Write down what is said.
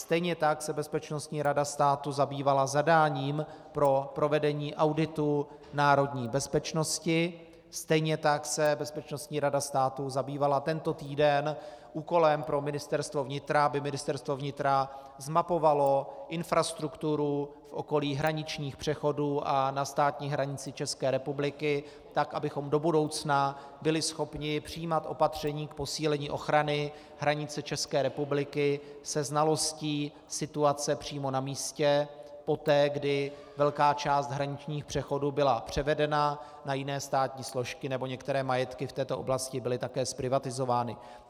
Stejně tak se Bezpečnostní rada státu zabývala zadáním pro provedení auditu národní bezpečnosti, stejně tak se Bezpečnostní rada státu zabývala tento týden úkolem pro Ministerstvo vnitra, aby Ministerstvo vnitra zmapovalo infrastrukturu v okolí hraničních přechodů a na státní hranici České republiky tak, abychom do budoucna byli schopni přijímat opatření k posílení ochrany hranice České republiky se znalostí situace přímo na místě poté, kdy velká část hraničních přechodů byla převedena na jiné státní složky nebo některé majetky v této oblasti byly také zprivatizovány.